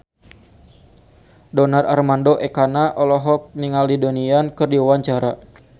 Donar Armando Ekana olohok ningali Donnie Yan keur diwawancara